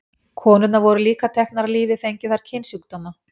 Konurnar voru líka teknar af lífi fengju þær kynsjúkdóma.